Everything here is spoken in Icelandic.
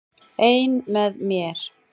Ein með mér.